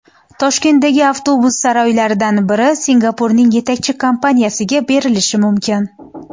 Toshkentdagi avtobus saroylaridan biri Singapurning yetakchi kompaniyasiga berilishi mumkin.